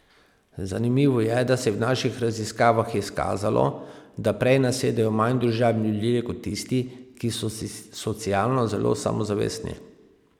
Zanimivo je, da se je v naših raziskavah izkazalo, da prej nasedejo manj družabni ljudje kot tisti, ki so socialno zelo samozavestni.